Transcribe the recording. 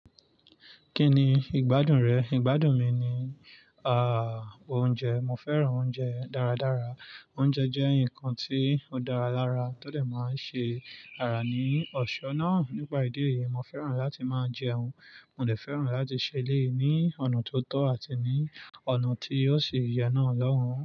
Kí ni ìgbádùn rẹ̀? Ìgbádùn mi ni, ah, oúnjẹ. Mo fẹ́ràn oúnjẹ dáradára. Oúnjẹ jẹ́ nǹkan tí ó dára lára, tó dè máa ṣe ara ní ọ̀ṣọ́ náà. Nípa ìdí èyí, mo fẹ́ràn láti máa jẹun. Mo dè fẹ́ràn láti ṣẹlẹ̀ ní ọ̀nà tó tọ́ àti ní ọ̀nà tí yóò ṣi yè náà lóhùn.